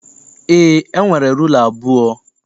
Eé, e nwere rula abụọ.